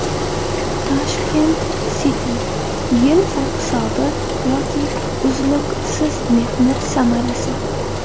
Tashkent City: Yil sarhisobi yoki uzluksiz mehnat samarasi.